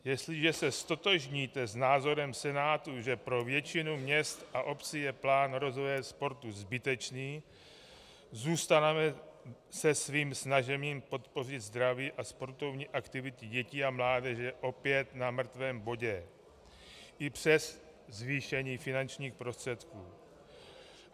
Jestliže se ztotožníte s názorem Senátu, že pro většinu měst a obcí je plán rozvoje sportu zbytečný, zůstaneme se svým snažením podpořit zdraví a sportovní aktivity dětí a mládeže opět na mrtvém bodě i přes zvýšení finančních prostředků.